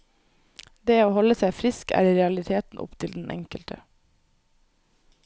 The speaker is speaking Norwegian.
Det å holde seg frisk er i realiteten opp til den enkelte.